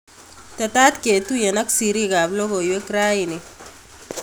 Tetat ketuyen ak siriik ap logoywek raini